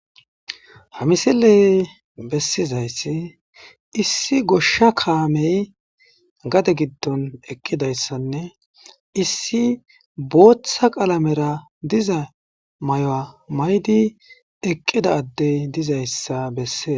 Ha misile besizayssi issi goshsha kaame gade gidon eqizayssanne issi booththa qalamera diza mayo mayidi eqqida adde dizayssa besees.